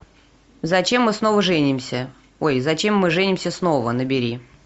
зачем мы снова женимся ой зачем мы женимся снова набери